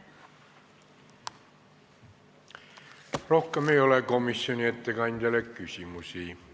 Rohkem ei ole komisjoni ettekandjale küsimusi.